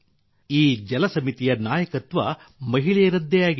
ಈ ಜಲಸಮಿತಿಯ ನಾಯಕತ್ವ ಮಹಿಳೆಯರದ್ದೇ ಆಗಿದೆ